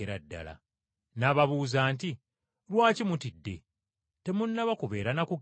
N’ababuuza nti, “Lwaki mutidde? Temunnaba kubeera na kukkiriza?”